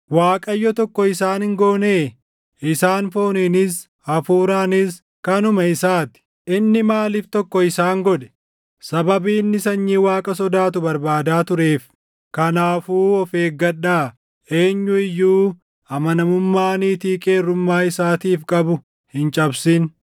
Waaqayyo tokko isaan hin goonee? Isaan fooniinis hafuuraanis kanuma isaa ti. Inni maaliif tokko isaan godhe? Sababii inni sanyii Waaqa sodaatu barbaadaa tureef. Kanaafuu of eeggadhaa; eenyu iyyuu amanamummaa niitii qeerrummaa isaatiif qabu hin cabsin.